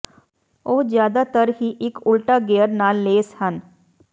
ਉਹ ਜਿਆਦਾਤਰ ਹੀ ਇੱਕ ਉਲਟਾ ਗੇਅਰ ਨਾਲ ਲੈਸ ਹਨ